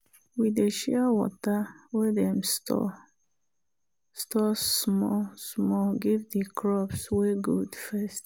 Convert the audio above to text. we dey share water wey dem store store small-small give the crops wey good first